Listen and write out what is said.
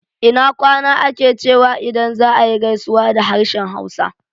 Ina kwana ake cewa idan za ayi gaisuwa da harshen Hausa